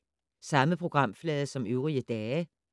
Samme programflade som øvrige dage